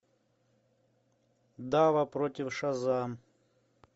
дава против шазам